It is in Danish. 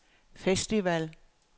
festival